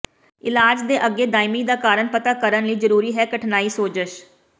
ਇਲਾਜ ਦੇ ਅੱਗੇ ਦਾਇਮੀ ਦਾ ਕਾਰਨ ਪਤਾ ਕਰਨ ਲਈ ਜ਼ਰੂਰੀ ਹੈ ਕਠਨਾਈ ਸੋਜਸ਼